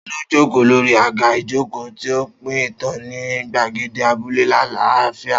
Ta ló jókòó lórí àga ìjókòó, tí ó ń pín ìtàn ní gbàgede abúlé àlàáfíà?